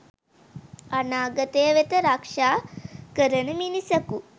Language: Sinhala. අනාගතය වෙත රක්ෂා කරන මිනිසකු